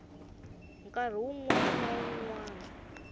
nkarhi wun wana na wun